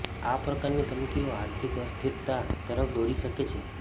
આ પ્રકારની ધમકીઓ આર્થિક અસ્થિરતા તરફ દોરી શકે છે